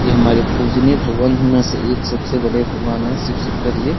ये हमारे पूजनीय भगवानों में से एक सबसे बड़े भगवन हैं शिव शंकर जी।